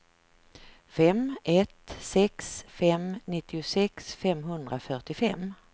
fem ett sex fem nittiosex femhundrafyrtiofem